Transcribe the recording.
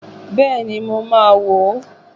Bẹ́ẹ̀ni, mo máa wo